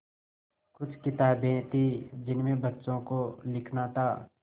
कुछ किताबें थीं जिनमें बच्चों को लिखना था